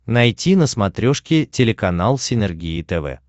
найти на смотрешке телеканал синергия тв